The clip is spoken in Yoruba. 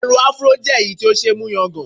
Irun Afro jẹ́ èyí tí ó ṣe é mú yangàn